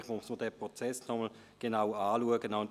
Vielleicht sollte man diesen Prozess nochmals anschauen.